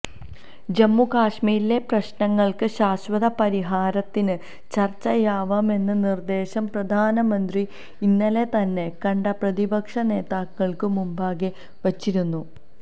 ജമ്മുകശ്മീരിലെ പ്രശ്നങ്ങള്ക്ക് ശാശ്വത പരിഹാരത്തിന് ചര്ച്ചയാവാമെന്ന നിര്ദ്ദേശം പ്രധാനമന്ത്രി ഇന്നലെ തന്നെ കണ്ട പ്രതിപക്ഷ നേതാക്കള്ക്കു മുമ്പാകെ വച്ചിരുന്നു